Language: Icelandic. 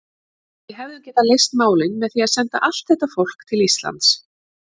Við hefðum getað leyst málin með því að senda allt þetta fólk til Íslands.